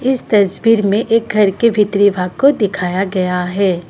इस तस्वीर में एक घर के भीतरी भाग को दिखाया गया है।